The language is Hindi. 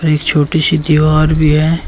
इस छोटी सी दीवार भी है।